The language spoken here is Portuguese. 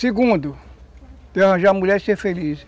Segundo, de arranjar mulher e ser feliz.